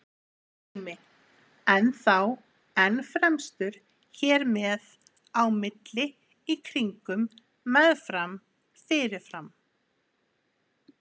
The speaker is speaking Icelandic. Dæmi: enn þá, enn fremur, hér með, á milli, í kringum, með fram, fyrir fram.